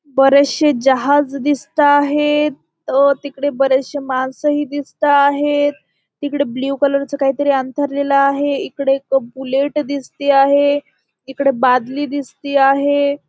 बरेचसे जहाज दिसताहेत अ तिकडे बरेचसे माणस ही दिसताहेत तिकडे ब्लू कलरचं काहीतरी अंथरलेला आहे इकडे एक बुलेट दिसती आहे. इकड बादली दिसती आहे.